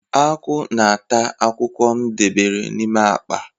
Akwụ na-ata akwụkwọ m debere n'ime akpa.